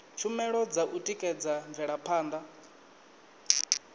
tshumelo dza u tikedza mvelaphanda